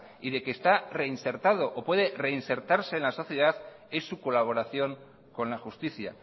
y de que está reinsertado o puede reinsertarse en la sociedad es su colaboración con la justicia